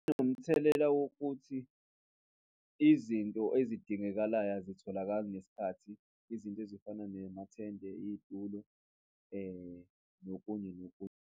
Inomthelela wokuthi izinto ezidingekalayo azitholakali ngesikhathi, izinto ezifana ne amathende, izitulo nokunye nokunye.